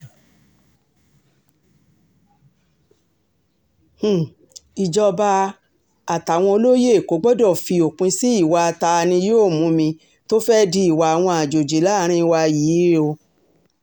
um ìjọba àtàwọn olóye èkó gbọdọ̀ fi òpin sí ìwà ta-ni-yóò-mù-mí tó fẹ́ẹ̀ di ìwà àwọn àjọjì láàrin wa yìí um o